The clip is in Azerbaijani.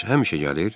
Bəs həmişə gəlir?